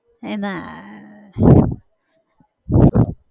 એ ના